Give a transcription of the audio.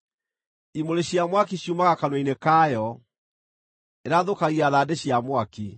Imũrĩ cia mwaki ciumaga kanua-inĩ kayo; ĩrathũkagia thandĩ cia mwaki.